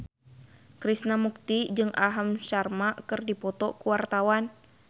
Krishna Mukti jeung Aham Sharma keur dipoto ku wartawan